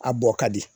A bɔ ka di